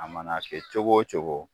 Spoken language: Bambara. A mana kɛ cogo o cogo